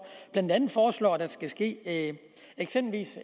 blandt andet foreslår at der eksempelvis skal ske